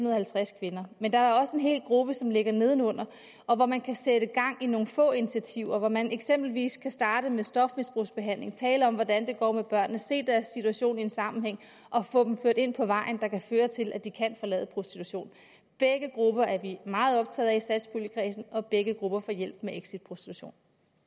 og halvtreds kvinder men der er også en hel gruppe som ligger nedenunder og hvor man kan sætte gang i nogle få initiativer hvor man eksempelvis kan starte med stofmisbrugsbehandling tale om hvordan det går med børnene se deres situation i en sammenhæng og få dem ført ind på vejen der kan føre til at de kan forlade prostitution begge grupper er vi meget optaget af i satspuljekredsen og begge grupper får hjælp med exit prostitution